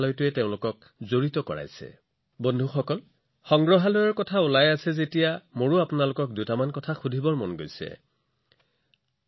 অৱশ্যে বন্ধুসকল যেতিয়া সংগ্ৰহালয়টোৰ বিষয়ে আপোনালোকৰ সৈতে ইমান কথা পাতি আছো মই আপোনালোকক কিছুমান প্ৰশ্ন সুধিব বিচাৰিছিলো